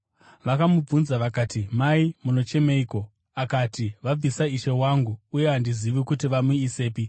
Vakamubvunza vakati, “Mai, munochemeiko?” Akati, “Vabvisa Ishe wangu, uye handizivi kuti vamuisepi.”